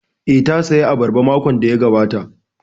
Eh, ta saya abarba makon da ya gabata